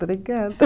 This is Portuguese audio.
Obrigada.